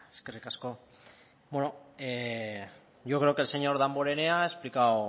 eskerrik asko bueno yo creo que el señor damborenea ha explicado